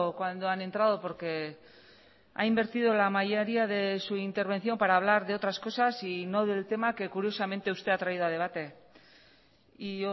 cuando han entrado porque ha invertido la mayoría de su intervención para hablar de otras cosas y no del tema que curiosamente usted ha traído a debate y